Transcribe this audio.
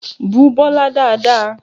Bú Bọlá dáadáa!